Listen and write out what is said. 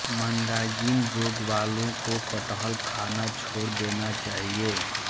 मंदाग्नि रोग वालों को कटहल खाना छोड़ देना चाहिए